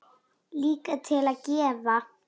Líka til að gefa.